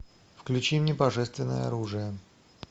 включи мне божественное оружие